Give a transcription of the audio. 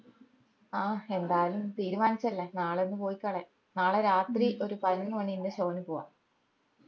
ആഹ് എന്താലും തീരുമാനിച്ചയല്ലേ നാളെ ഒന്ന് പോയിക്കളയ നാളെ രാത്രി ഒരു പതിനൊന്ന് മണിന്റെ show ഇന് പോവ്വാ